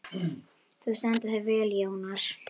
Þú stendur þig vel, Jónar!